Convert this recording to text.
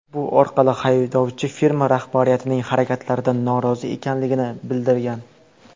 Bu orqali haydovchi firma rahbariyatining harakatlaridan norozi ekanligini bildirgan.